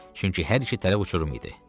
Çünki hər iki tərəf uçurum idi.